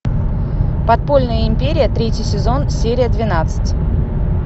подпольная империя третий сезон серия двенадцать